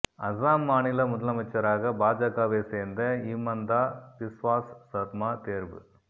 அசாம் மாநில முதலமைச்சராக பாஜகவை சேர்ந்த ஹிமந்தா பிஸ்வாஸ் சர்மா தேர்வு